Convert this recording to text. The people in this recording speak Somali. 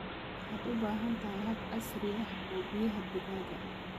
Waxaad u baahan tahay hab casri ah oo biyaha digaaga ah.